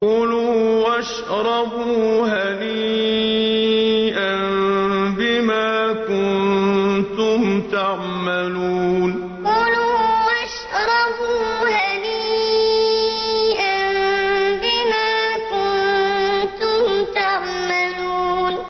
كُلُوا وَاشْرَبُوا هَنِيئًا بِمَا كُنتُمْ تَعْمَلُونَ كُلُوا وَاشْرَبُوا هَنِيئًا بِمَا كُنتُمْ تَعْمَلُونَ